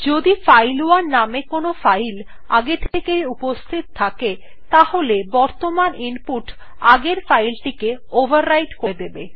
যদি ফাইল1 নামে কোনো ফাইল আগে থেকেই উপস্হিত থাকে তাহলে বর্তমান ইনপুট আগের ফাইল টিকে ওভাররাইট করে দেবে